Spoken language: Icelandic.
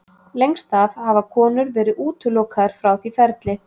Lengst af hafa konur verið útilokaðar frá því ferli.